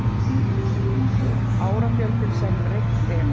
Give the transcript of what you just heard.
Árafjöldinn sem reykt er.